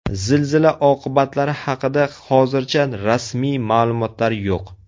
Zilzila oqibatlari haqida hozircha rasmiy ma’lumotlar yo‘q.